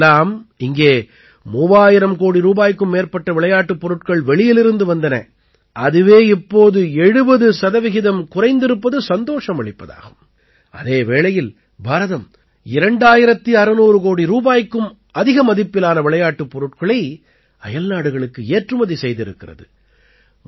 முன்பெல்லாம் இங்கே 3000 கோடி ரூபாய்க்கும் மேற்பட்ட விளையாட்டுப் பொருட்கள் வெளியிலிருந்து வந்தன அதுவே இப்போது 70 சதவீதம் குறைந்திருப்பது சந்தோஷம் அளிப்பதாகும் அதே வேளையில் பாரதம் 2600 கோடி ரூபாய்க்கும் அதிக மதிப்பிலான விளையாட்டுப் பொருட்களை அயல்நாடுகளுக்கு ஏற்றுமதி செய்திருக்கிறது